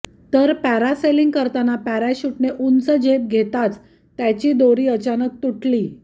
तर पॅरासेलिंग करताना पॅराशूटने उंच झेप घेताच त्याची दोरी अचानक तुटली